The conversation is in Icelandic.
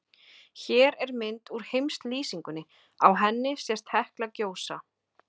Hér er mynd úr heimslýsingunni, á henni sést Hekla gjósa.